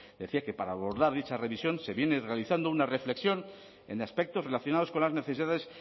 decía que para abordar dicha revisión se viene realizando una reflexión en aspectos relacionados con las necesidades